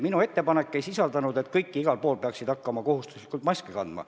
Minu ettepanek ei olnud, et kõik peaksid igal pool hakkama kohustuslikult maski kandma.